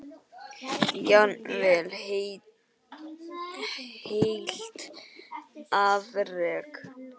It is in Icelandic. Jafnvel heilt afrek?